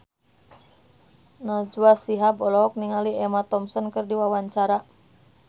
Najwa Shihab olohok ningali Emma Thompson keur diwawancara